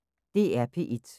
DR P1